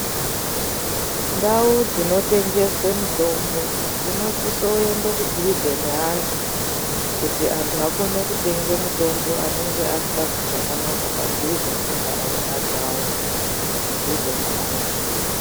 Ndau dzino tengeswe mitombo dzino sise kuende ku dhuze ne antu kuti antu akone kutenge mitombo anenge asika zwii zvakanaka padhuze ne nharaunda dzawo mudhuze navo.